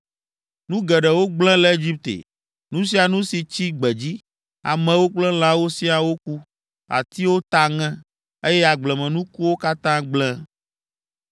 Nu geɖewo gblẽ le Egipte. Nu sia nu si tsi gbedzi, amewo kple lãwo siaa woku; atiwo ta ŋe, eye agblemenuwo katã gblẽ.